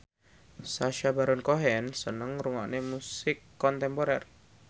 Sacha Baron Cohen seneng ngrungokne musik kontemporer